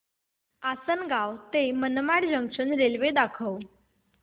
आसंनगाव ते Manmad junction railway दाखव